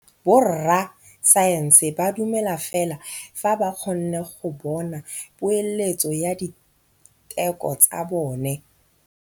Borra saense ba dumela fela fa ba kgonne go bona poeletsô ya diteko tsa bone.